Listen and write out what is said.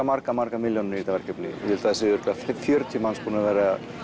margar margar milljónir í þetta verkefni ég held að það séu fjörutíu manns búnir að vera